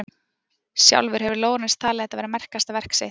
Sjálfur hefur Lorenz talið þetta vera merkasta verk sitt.